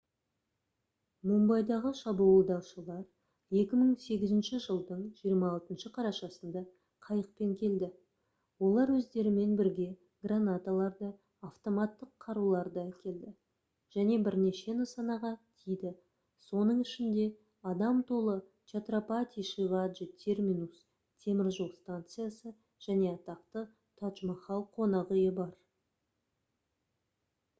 мумбайдағы шабуылдаушылар 2008 жылдың 26 қарашасында қайықпен келді олар өздерімен бірге гранаталарды автоматтық қаруларды әкелді және бірнеше нысанаға тиді соның ішінде адам толы чатрапати шиваджи терминус теміржол станциясы және атақты тадж-махал қонақүйі бар